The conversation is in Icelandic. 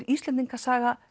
Íslendingasaga